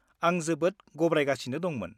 आं जोबोद गाब्रायगासिनो दंमोन।